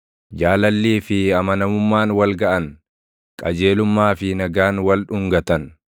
Jaalallii fi amanamummaan wal gaʼan; qajeelummaa fi nagaan wal dhungatan.